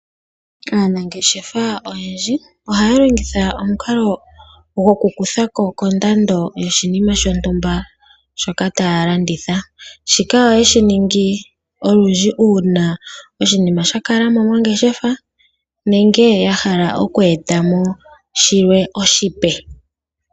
Aanangeshefa oyendji ohaya longitha omukalo gwokukutha ko kondando yoshinima shontumba shoka taya landitha, shika ohayeshi ningi olundji uuna oshinima shakala mo mongeshefa nenge yahala oku eta mo shilwe oshipe.